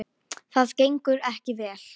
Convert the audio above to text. Það gengur ekki vel.